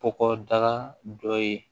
Kɔgɔda dɔ ye